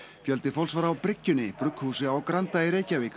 fjöldi fólks var á bryggjunni brugghúsi á Granda